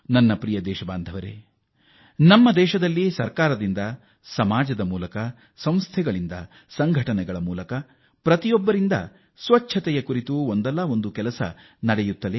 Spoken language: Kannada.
ನನ್ನ ಪ್ರೀತಿಯ ದೇಶವಾಸಿಗಳೇ ಹೆಚ್ಚಿನ ಸ್ವಚ್ಛತೆಗಾಗಿ ಸರ್ಕಾರ ಸಮಾಜ ಸಂಸ್ಥೆಗಳು ಸಂಘಟನೆಗಳು ಅಷ್ಟೇಕೆ ಪ್ರತಿಯೊಬ್ಬರೂ ತಮ್ಮದೇ ಆದ ಪ್ರಯತ್ನ ಮಾಡುತ್ತಿದ್ದಾರೆ